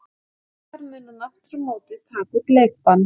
Þar mun hann aftur á móti taka út leikbann.